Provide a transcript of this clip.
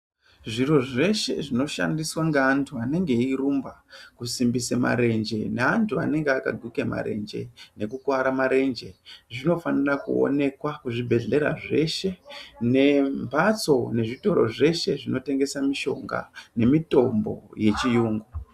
Zvirozveshe zvinotengeswa ngaantu anenge airumba kusimbise marenje neantu anenge akaguka marenje nekukuvara marenje. Zvinofanira kuonanekwa kuzvibhedhlera zveshe nembatso nezvitoro zveshe zvinotengesa mishonga nemitombo yechiyungu.